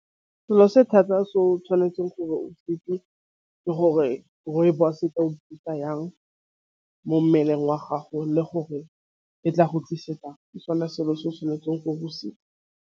Selo se thata se o tšhwanetseng gore ke gore rooibos-e ka o ithuta yang mo mmeleng wa gago le gore e tla go tlisetsang ke sone selo se o tšhwanetseng go .